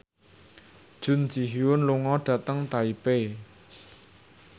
Jun Ji Hyun lunga dhateng Taipei